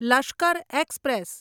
Lashkar express